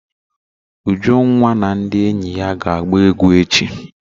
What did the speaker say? Ujunwa na ndị enyi ya ga agba egwu echi.